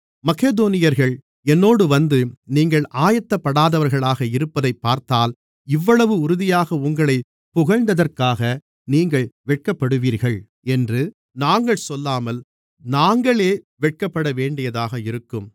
மக்கெதோனியர்கள் என்னோடு வந்து நீங்கள் ஆயத்தப்படாதவர்களாக இருப்பதைப் பார்த்தால் இவ்வளவு உறுதியாக உங்களைப் புகழ்ந்ததற்காக நீங்கள் வெட்கப்படுவீர்கள் என்று நாங்கள் சொல்லாமல் நாங்களே வெட்கப்படவேண்டியதாக இருக்கும்